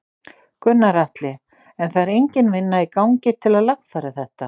Gunnar Atli: En það er engin vinna í gangi til að lagfæra þetta?